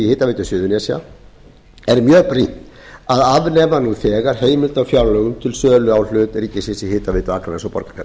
hitaveitu suðurnesja er mjög brýnt að afnema nú þegar heimild á fjárlögum til sölu á hlut ríkisins í hitaveitu akraness og borgarfjarðar